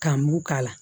Ka mugu k'a la